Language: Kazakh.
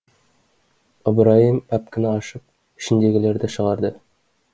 ыбырайым пәпкіні ашып ішіндегілерді шығарды